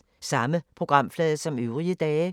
Samme programflade som øvrige dage